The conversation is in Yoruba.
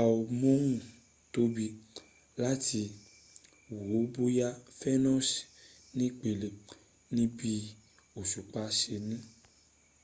amóhuntóbi láti wo bóyá venus nípele níbi òṣùpá se ní